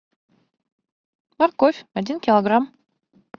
морковь один килограмм